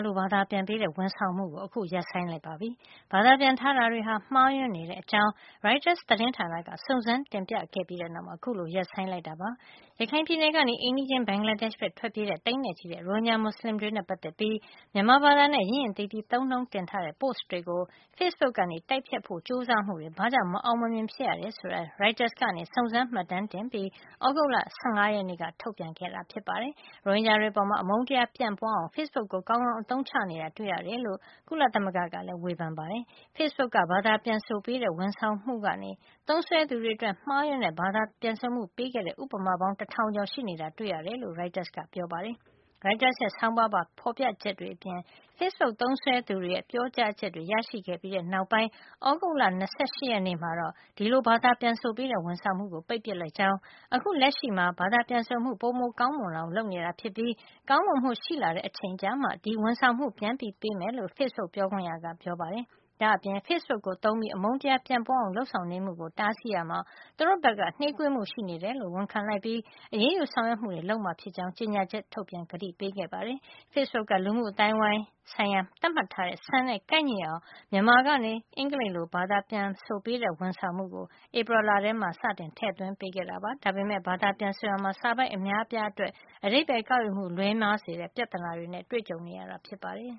လို ဘာသာပြန်ပေးတဲ့ ဝန်ဆောင်မှုကို အခု ရပ်ဆိုင်း လိုက်ပါပြီ။ ဘာသာပြန် ထားတာတွေဟာ မှားယွင်းနေတဲ့အကြောင်း ရိုက်တာ သတင်းဌာနက စုံစမ်း တင်ပြခဲ့ပြီးတဲ့နောက်မှာ အခုလို ရပ်ဆိုင်းလိုက်တာပါ။ ရခိုင်ပြည်နယ်ကနေ အိမ်နီးချင်း ဘင်္ဂလားဒေ့ရှ်ဘက် ထွက်ပြေးကြတဲ့ သိန်းနဲ့ချီတဲ့ ရိုဟင်ဂျာ မွတ်ဆလင်တွေနဲ့ ပတ်သက်ပြီး မြန်မာဘာသာနဲ့ ရင့်ရင့်သီးသီး သုံးနှုန်းတင်ထားတဲ့ Post တွေကို ဖေ့စ်ဘုတ်က တိုက်ဖျက်ဖို့ ကြိုးစားမှုတွေ ဘာကြောင့် မအောင်မမြင် ဖြစ်ရတယ် ဆိုတာကို ရိုက်တာက စုံစမ်း မှတ်တမ်းတင်ပြီး သြဂုတ်လ ၁၅ ရက်နေ့က ထုတ်ပြန်ခဲ့တာ ဖြစ်ပါတယ်။ ရိုဟင်ဂျာတွေအပေါ် အမုန်းတရား ပြန့်ပွားအောင် ဖေ့စ်ဘုတ်ကို ကောင်းကောင်း အသုံးချနေတာ တွေ့ရတယ်လို့ ကုလသမဂ္ဂကလည်း ဝေဖန်ခဲ့တာပါ။ Facebook က ဘာသာ ပြန်ဆိုပေးတဲ့ ဝန်ဆောင်မှုကနေ သုံးစွဲသူတွေအတွက် မှားယွင်းတဲ့ ဘာသာပြန်ဆိုမှု ပေးခဲ့တဲ့ ဥပမာပေါင်း တထောင်ကျော် ရှိနေတာကို တွေ့ခဲ့ရတယ်တယ်လို့ ရိုက်တာ ပြောပါတယ်။ ရိုက်တာရဲ့ ဆောင်းပါးပါဖေါ်ပြချက်တွေအပြင် ဖေ့စ်ဘုတ် သုံးစွဲသူတွေရဲ့ ပြောကြားချက်တွေ ရရှိခဲ့ပြီးတဲ့ နောက်ပိုင်း သြဂုတ်လ ၂၈ ရက်နေ့မှာတော့ အင်္ဂလိပ်လို ဘာသာပြန်ဆိုပေးတဲ့ ဝန်ဆောင်မှုကို ပိတ်ပစ်လိုက်ကြောင်းနဲ့ အခုလက်ရှိမှာ ဘာသာပြန်ဆိုမှု ပိုမို ကောင်းမွန်လာအောင် လုပ်နေတာဖြစ်ပြီး ကောင်းမွန်မှု ရှိလာတဲ့ အချိန်ကျမှ ဒီဝန်ဆောင်မှုကို ပြန်ပေးမှာ ဖြစ်ကြောင်း ဖေ့စ်ဘုတ် ပြောခွင့်ရက ပြောပါတယ်။ ဒါ့အပြင် ဖေ့စ်ဘုတ်ကို သုံးပြီးအမုန်းတရား ပြန့်ပွားအောင် လုပ်ဆောင်နေမှုကို တားဆီးရာမှာ သူတို့ဘက်က နှေးကွေးမှု ရှိနေတယ်လို့ ဝန်ခံလိုက်ပြီး အရေးယူဆောင်ရွက်မှုတွေ လုပ်မှာဖြစ်ကြောင်း ကြေညာချက်ထုတ်ပြန် ကတိပေးခဲ့ပါတယ်။ Facebook က လူမှုအသိုင်းဝိုင်းဆိုင်ရာ သတ်မှတ်ထားတဲ့ စံနဲ့ ကိုက်ညီအောင် မြန်မာကနေ အင်္ဂလိပ်လို ဘာသာပြန်ဆိုပေးတဲ့ ဝန်ဆောင်မှုကို ဧပြီလထဲမှာ စတင် ထည့်သွင်းပေးခဲ့တာပါ။ ဒါပေမယ့် ဘာသာပြန်ဆိုရာမှာ စာပိုဒ် အများအပြားအတွက် အဓိပ္ပါယ် ကောက်ယူမှု လွဲမှားတဲ့ ပြဿနာတွေနဲ့ ကြုံနေရတာ ဖြစ်ပါတယ်။